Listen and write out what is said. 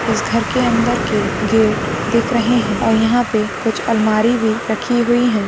इस घर के अंदर के गेट दिख रहे है और यहां पे कुछ अलमारी भी रखी हुई हैं।